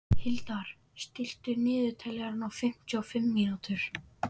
Hildar, stilltu niðurteljara á fimmtíu og fimm mínútur.